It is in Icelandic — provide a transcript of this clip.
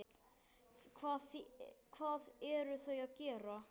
Hvað eru þau að gera?